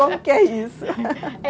Como que é isso?